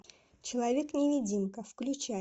человек невидимка включай